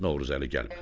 Novruzəli gəlmədi.